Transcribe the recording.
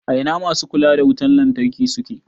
A ina masu kula da wutan lantarki suke?